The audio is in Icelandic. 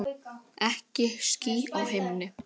Ekki ský á himni.